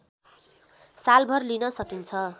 सालभर लिन सकिन्छ